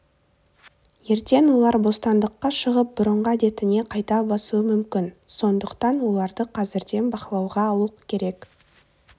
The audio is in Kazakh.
ертең олар бостандыққа шығып бұрыңғы әдетіне қайта басуы мүмкін сондықтан оларды қазірден бақылауға алу керек